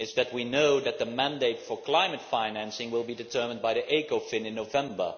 We know that the mandate for climate financing will be determined by the Ecofin Council in November.